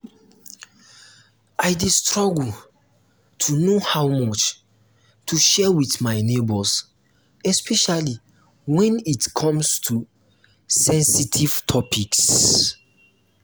i um dey struggle to know how much to share with my neighbors especially when it come to sensitive topics.